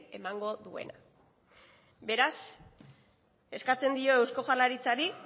emango duena beraz eskatzen dio eusko jaurlaritzari